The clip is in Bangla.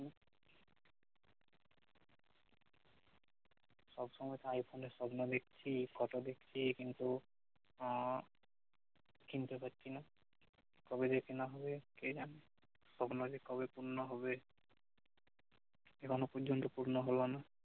সব সমই তো আইফোন এর স্বপ্ন দেখেছি photo দেখছি কিন্তু আহ কিনতে পারছি না কবে যে কেনা হবে কে জানে সপ্ন যে কবে পূর্ণ হবে কে জানে এখন পর্যন্ত পূর্ণ হল না